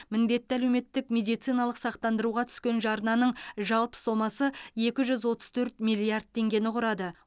міндетті әлеуметтік медициналық сақтандыруға түскен жарнаның жалпы сомасы екі жүз отыз төрт миллиард теңгені құрады